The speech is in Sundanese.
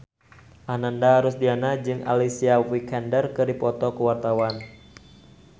Ananda Rusdiana jeung Alicia Vikander keur dipoto ku wartawan